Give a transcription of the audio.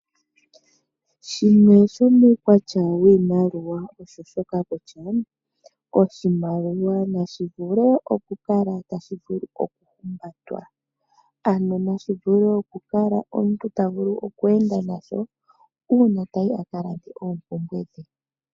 Shimwe shomuukwatya wiimaliwa osho shoka kutya ,oshimaliwa nashi vule okukala tashi vulu okuhumbatwa. Ano nashi vule okukala omuntu ta vulu okweenda nasho uuna tayi akalande oompumbwe dhe.